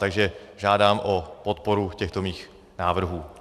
Takže žádám o podporu těchto mých návrhů.